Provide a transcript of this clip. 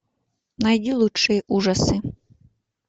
найди лучшие ужасы